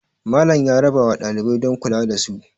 Malam ya rabawa ɗalibai don kula da su